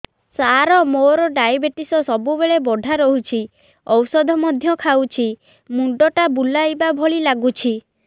ସାର ମୋର ଡାଏବେଟିସ ସବୁବେଳ ବଢ଼ା ରହୁଛି ଔଷଧ ମଧ୍ୟ ଖାଉଛି ମୁଣ୍ଡ ଟା ବୁଲାଇବା ଭଳି ଲାଗୁଛି